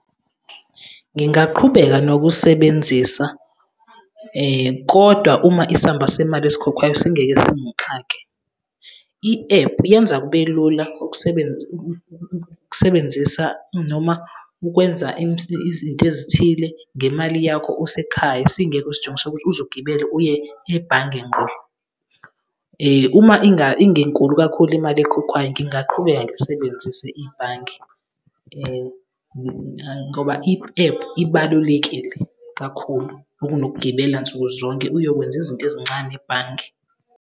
Ngingaqhubeka nokusebenzisa, kodwa uma isamba semali esikhokhwayo singeke singixake. I-ephu yenza kube lula ukusebenzisa noma ukwenza izinto ezithile ngemali yakho usekhaya, singekho usijingo sokuthi uze ugibele uye ebhange ngqo. Uma ingenkulu kakhulu imali ekhokhwayo, ngingaqhubeka ngilisebenzise ibhange ngoba i-ephu ibalulekile kakhulu, okunokugibela nsuku zonke uyokwenza izinto ezincane ebhange.